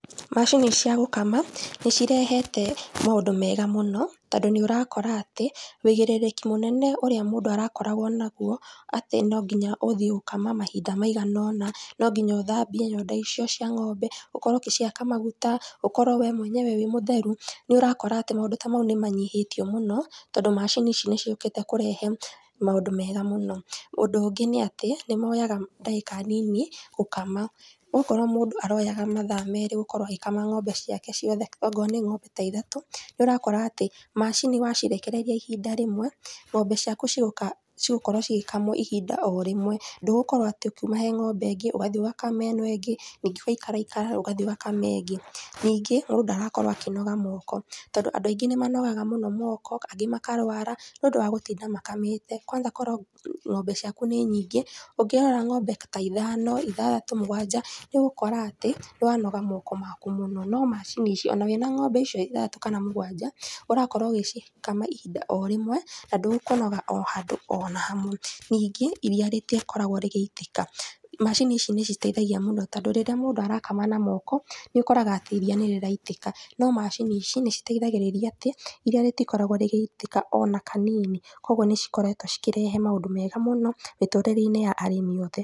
Macini cia gũkama nĩcirehete maũndũ mega mũno tondũ nĩũrakora atĩ wũigĩrĩrĩki mũnene ũrĩa mũndu arakoragwo naguo atĩ no nginya ũthie gũkama mahinda maigana ona, no nginya ũthambie nyondo icio cia ng'ombe ũkorwo ũgĩcihaka maguta ũkorwo wee mwenyewe wĩ mũtheru, nĩũrakora atĩ maũndũ ta mau nĩmanyihĩtio mũno tondũ macini ici nĩciũkĩte kũrehe maũndũ mega mũno. Ũndũ ũngĩ nĩ atĩ nĩmoyaga ndagĩka nini gũkama ũgakora mũndũ aroyaga mathaa merĩ gũkorwo agĩkama ng'ombe ciake ciothe ongorwo nĩ ng'ombe ta ithatũ nĩũrakora macini wacirekereria ihinda rĩmwe ng'ombe ciaku cigũkorwo cigĩkamwo ihinda o rĩmwe ndũgũkorwo atĩ ũkiuma harĩ ng'ombe ĩngĩ ũgathie ũgakama ĩno ĩngĩ ningĩ ũgaikaikara ũgathie ũgakama ĩngĩ. Ningĩ mũndũ ndarakorwo akĩnoga moko tondũ andũ aingĩ nĩmakoragwo makĩnoga mũno moko na angĩ magakorwo makĩrwara nĩũndũ wa gĩtinda makamĩte kwanja korwo ng'ombe ciaku nĩ nyingĩ ng'ombe ũkĩrora ng'ombe ta ithano ithathatũ mũgwanja nĩũgũkora atĩ nĩwanoga moko maku mũno, no macini icio ona wĩna ng'ombe icio ithathatũ kana mũgwanja ũrakorwo ũgĩcikama ihinda o rĩmwe na ndũkũnoga ona handũ ona hamwe. Ningĩ iria rĩtikoragwo rĩgĩitĩka macini ici nĩiteithagia mũno tondũ rĩrĩa mũndũ arakama na moko nĩũkoraga atĩ iria nĩrĩraitĩka no macini ici nĩiteithagĩrĩria atĩ iria rĩtikoragwo rĩgĩitĩka ona kanini. Koguo nĩcikoretwo cikĩrehe maũndũ mega mũno mĩtũrĩreinĩ ya arĩmi othe.